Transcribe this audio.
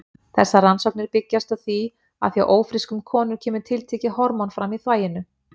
Þessar rannsóknir byggjast á því að hjá ófrískum konum kemur tiltekið hormón fram í þvaginu.